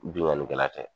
Bingannikɛla tɛ